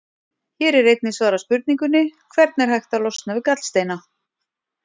Hér er einnig svarað spurningunni: Hvernig er hægt að losna við gallsteina?